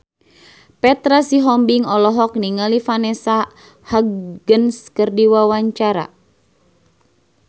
Petra Sihombing olohok ningali Vanessa Hudgens keur diwawancara